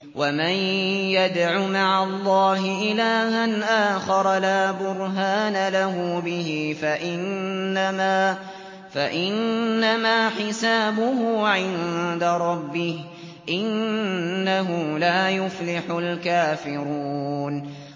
وَمَن يَدْعُ مَعَ اللَّهِ إِلَٰهًا آخَرَ لَا بُرْهَانَ لَهُ بِهِ فَإِنَّمَا حِسَابُهُ عِندَ رَبِّهِ ۚ إِنَّهُ لَا يُفْلِحُ الْكَافِرُونَ